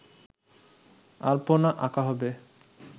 আলপনা আঁকা হবে